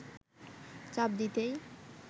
চাপ দিতেই